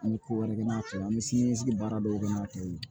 An bɛ ko wɛrɛ kɛ n'a to ye an bɛ sini ɲɛsigi baara dɔw kɛ n'a to yen